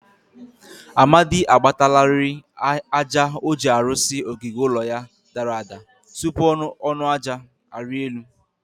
Amadi agbatalari aja o ji arụsi ogige ụlọ ya dara ada. tupu ọnụ aja arịa elu.